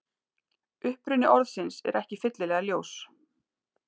Uppruni orðsins er ekki fyllilega ljós.